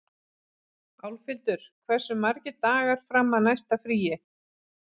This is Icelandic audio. Álfhildur, hversu margir dagar fram að næsta fríi?